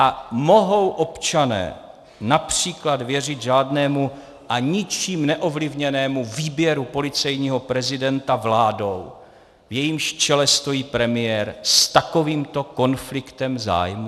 A mohou občané například věřit řádnému a ničím neovlivněnému výběru policejního prezidenta vládou, v jejímž čele stojí premiér s takovýmto konfliktem zájmů?